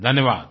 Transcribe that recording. धन्यवाद्